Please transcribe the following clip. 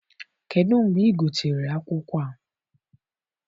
Kedụ mgbe ị gotere akwụkwọ a?